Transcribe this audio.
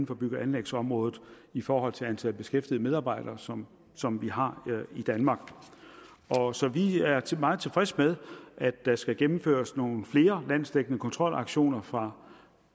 for bygge og anlægsområdet i forhold til antal beskæftigede medarbejdere som som vi har i danmark så vi er meget tilfreds med at der skal gennemføres nogle flere landsdækkende kontrolaktioner fra